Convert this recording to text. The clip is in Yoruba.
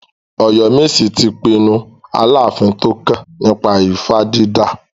Oyomesi ti pinnu Aláàfin tó kàn nípa ifá dídà.